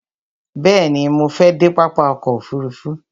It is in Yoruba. Bẹ̀ẹ̀ni, mo fẹ dé pápá ọkò òfurufú.